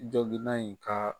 Jɔgina in ka